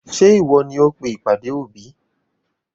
Ṣé ìwọ ni ó pe ìpàdé òbí?